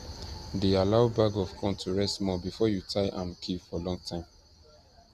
de allow bag of corn to rest small before you tie am keep for long time